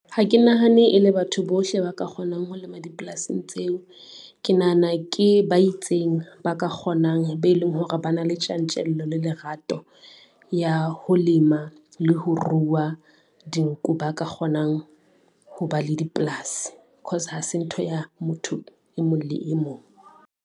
Ha ke nahane e le batho bohle ba ka kgonang ho lema dipolasing tseo. Ke nahana ke ba itseng, ba ka kgonang be leng hore ba na le tjantjello le lerato ya ho lema, le ho ruwa dinku ba ka kgonang ho ba le dipolasi. Cause ha se ntho ya motho e mong le e mong.